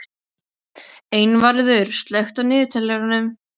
Einvarður, slökktu á niðurteljaranum.